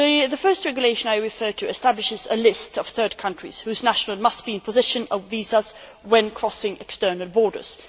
The first Regulation I referred to establishes a list of third countries whose nationals must be in possession of visas when crossing external borders